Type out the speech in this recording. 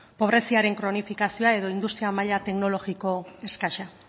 pobreziaren kronifikazioa edo industria maila teknologiko eskasa